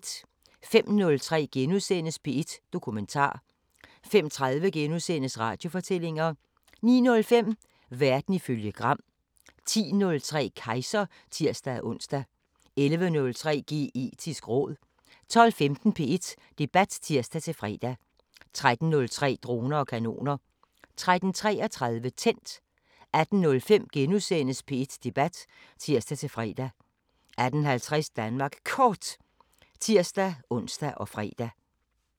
05:03: P1 Dokumentar * 05:30: Radiofortællinger * 09:05: Verden ifølge Gram 10:03: Kejser (tir-ons) 11:03: Geetisk råd 12:15: P1 Debat (tir-fre) 13:03: Droner og kanoner 13:33: Tændt 18:05: P1 Debat *(tir-fre) 18:50: Danmark Kort (tir-ons og fre)